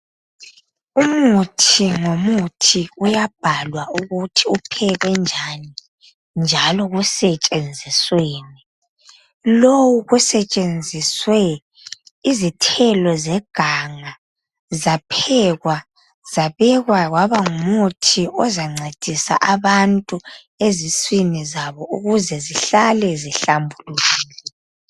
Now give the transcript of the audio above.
Umuthi ngomuthi uyabhalwa ukuthi uphekwe njani njalo kusetshenzisweni lowu kwesinye isikhathi kusetshenziswe izithelo zeganga zaphekwa zabekwa kwaba ngumuthi ozancedisa abantu eziswini zabo ukuze zihlale zihlambulukile.